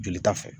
Joli ta fɛ